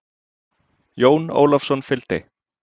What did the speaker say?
Jón Ólafsson fylgdi.